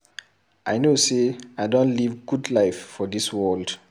I no say I don live good life for dis world.